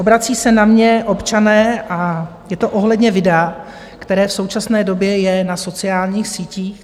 Obracejí se na mě občané a je to ohledně videa, které v současné době je na sociálních sítích.